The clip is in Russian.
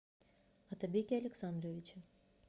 отабеке александровиче